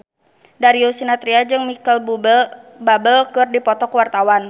Darius Sinathrya jeung Micheal Bubble keur dipoto ku wartawan